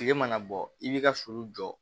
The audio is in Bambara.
Kile mana bɔ i b'i ka sulu jɔ